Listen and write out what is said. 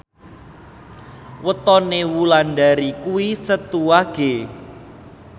wetone Wulandari kuwi Setu Wage